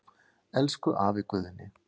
Elsku afi Guðni.